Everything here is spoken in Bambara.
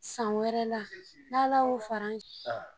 San wɛrɛla n'Ala y'o fara an si